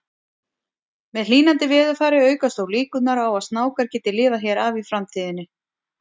Með hlýnandi veðurfari aukast þó líkurnar á að snákar geti lifað hér af í framtíðinni.